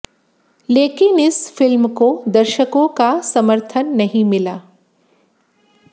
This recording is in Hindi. लेकिन इस फिल्म को दर्शकों का समर्थन नहीं मिला